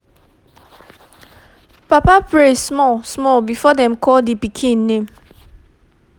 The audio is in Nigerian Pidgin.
papa pray small small before dem call d pikin name